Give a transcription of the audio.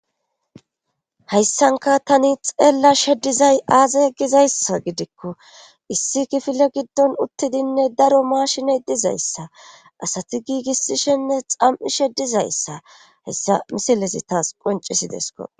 hayssanka tani xeellashe dizay aaza gizayssa gidikko issi kifile giddon uttidinne daro maashine dizayssa asati giigissishenne xam'ishe dizayssa hayissa misilesi taas qoncisidesko